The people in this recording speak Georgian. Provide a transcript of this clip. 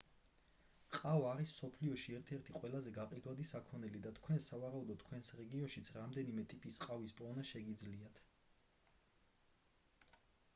ყავა არის მსოფლიოში ერთ-ერთი ყველაზე გაყიდვადი საქონელი და თქვენ სავარაუდოდ თქვენს რეგიონშიც რამდენიმე ტიპის ყავის პოვნა შეგიძლიათ